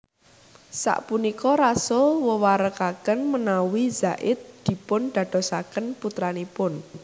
Sapunika Rasul wewarakaken menawi Zaid dipun dadosaken putranipun